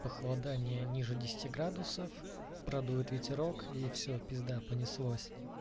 похолодание ниже десяти градусов про дует ветерок и все пизда понеслось